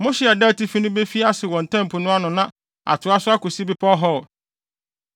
Mo hye a ɛda atifi no befi ase wɔ Ntam Po no ano na atoa so akosi bepɔw Hor,